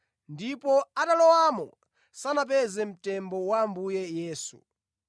ndipo atalowamo sanapeze mtembo wa Ambuye Yesu.